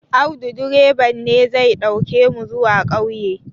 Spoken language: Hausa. Audu direban ne zai ɗauke mu zuwa ƙauye